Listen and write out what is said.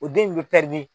O den in bɛ